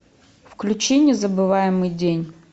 включи незабываемый день